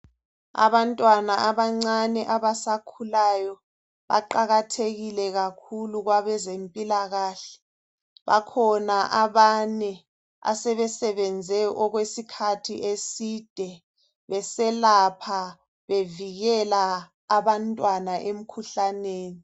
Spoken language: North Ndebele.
Abantwana abancane abasakhulayo baqakathekile kakhulu kwabezempilakahle bakhona abane asebesebenze okwesikhathi eside beselapha bevikela abantwana emkhuhlaneni.